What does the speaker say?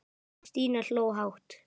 Stína hló hátt.